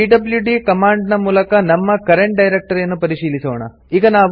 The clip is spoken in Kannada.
ಪಿಡ್ಲ್ಯೂಡಿ ಕಾಮಂಡ್ ನ ಮೂಲಕ ನಮ್ಮ ಕರೆಂಟ್ ಡೈರೆಕ್ಟರಿಯನ್ನು ಪರಿಶೀಲಿಸೋಣ